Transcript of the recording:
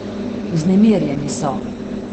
Vznemirjeni so.